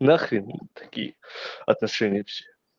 нахрен такие отношения и все